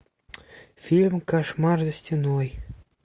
фильм кошмар за стеной